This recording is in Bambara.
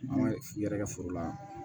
An ka i yɛrɛkɛ foro la